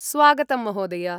स्वागतं महोदय।